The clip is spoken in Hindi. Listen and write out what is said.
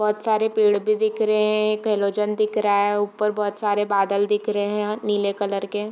बहोत सारे पेड़ भी दिख रहे हैं एक हेलोजेन दिख रहा है ऊपर बहोत सारे बादल दिख रहे हैं नीले कलर के।